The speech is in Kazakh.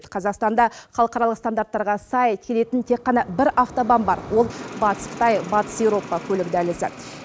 қазақстанда халықаралық стандарттарға сай келетін тек қана бір автобан бар ол батыс қытай батыс еуропа көлік дәлізі